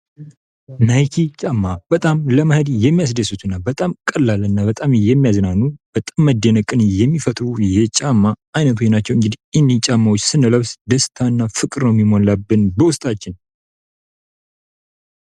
ናይክ ጫማ በጣም ለመሄድ የሚያስደስቱና በጣም ቀላልና በጣም የሚያዝናኑ በጣም መደነቅን የሚፈጥሩ የጫማ አይነቶች ናቸው እንግዲህ እንግዲ እኒህ ጫማዎች ስነለብስ ደስታና ፍቅሩ የሚሞላብን በውስጣችን::